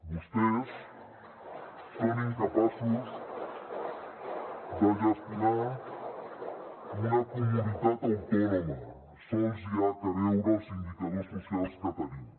vostès són incapaços de gestionar una comunitat autònoma sols s’ha de veure els indicadors socials que tenim